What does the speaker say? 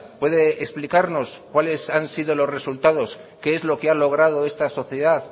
puede explicarnos cuáles han sido los resultados qué es lo que ha logrado esta sociedad